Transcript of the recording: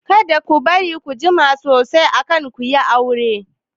Kada ku bari ku jima sosai kan ku yi aure!